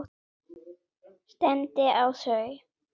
Stefndi á þau.